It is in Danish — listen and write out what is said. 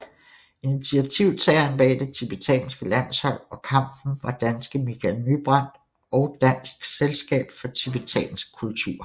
Initiativtageren bag det tibetanske landshold og kampen var danske Michael Nybrandt og Dansk Selskab For Tibetansk Kultur